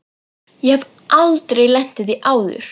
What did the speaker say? Ég hef aldrei lent í því áður.